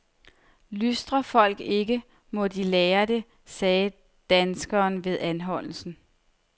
Lystrer folk ikke, må de lære det, sagde danskeren ved anholdelsen.